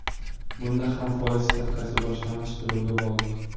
Bunda ham foiz stavkasi boshlang‘ich to‘lovga bog‘liq.